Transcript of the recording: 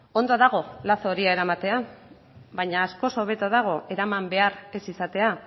ondo dago lazo horia eramatea baina askoz hobeto dago eraman behar ez izatea